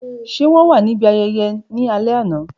Ṣe wọn wa nibi ayẹyẹ ni alẹ ana?.